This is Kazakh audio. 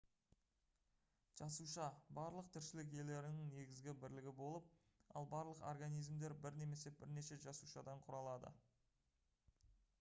жасуша барлық тіршілік иелерінің негізгі бірлігі болып ал барлық организмдер бір немесе бірнеше жасушадан құралады